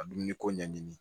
Ka dumuni ko ɲɛɲini